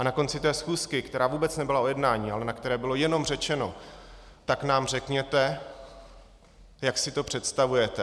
A na konci té schůzky, která vůbec nebyla o jednání, ale na které bylo jenom řečeno: tak nám řekněte, jak si to představujete.